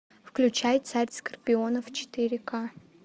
включай царь скорпионов четыре ка